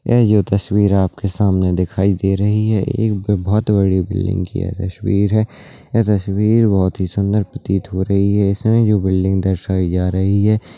ये जो तस्वीर आपको सामने दिखाई दे रही है ये एक बहोत बड़े बिल्डिंग की तस्वीर है ये तस्वीर बहोत ही सुंदर प्रतीत हो रही है इसमे जो बिल्डिंग दर्शाई जा रही है --